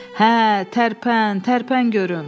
Hə, tərpən, tərpən görüm.